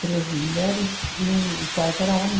Três mulheres e um o quarto era homem.